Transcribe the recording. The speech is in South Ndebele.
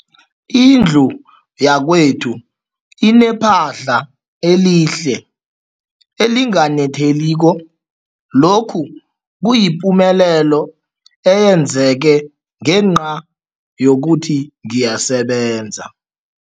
Indlu yakwethu inephahla elihle, elinganetheliko, lokhu kuyipumelelo eyenzeke ngenca yokuthi ngiyasebenza.